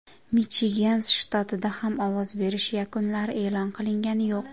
Michigan shtatida ham ovoz berish yakunlari e’lon qilingani yo‘q.